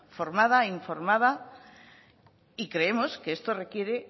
formada informada y creemos que esto requiere